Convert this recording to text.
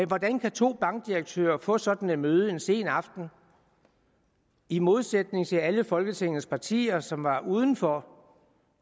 hvordan kan to bankdirektører få sådan et møde en sen aften i modsætning til alle folketingets partier som var udenfor